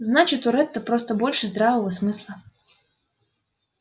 значит у ретта просто больше здравого смысла